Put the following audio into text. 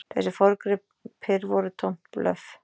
Þessir forngripir voru tómt blöff.